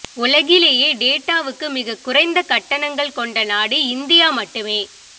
உலகிலேயே டேட்டாவுக்கு மிகக் குறைந்த கட்டணங்கள் கொண்ட நாடு இந்தியா மட்டுமே